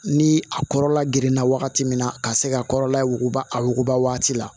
Ni a kɔrɔla geren na wagati min na ka se ka kɔrɔla wuguba a wuguba waati la